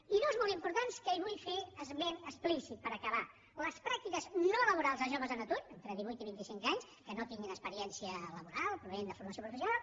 i dues molt importants que en vull fer esment explícit per acabar les pràctiques no laborals de joves en atur d’entre divuit i vint i cinc anys que no tinguin experiència laboral provinents de formació professional